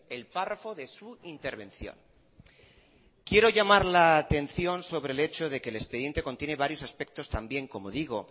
el párrafo de su intervención quiero llamar la atención sobre el hecho de que el expediente contiene varios aspectos también como digo